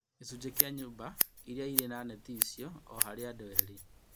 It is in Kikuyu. Gĩcunjĩ kĩa nyũmba iria cirĩ na neti ici o harĩ andũ eerĩ